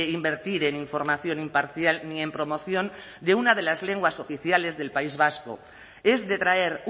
invertir en información imparcial ni en promoción de una de las lenguas oficiales del país vasco es detraer